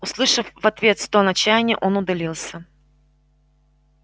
услышав в ответ стон отчаяния он удалился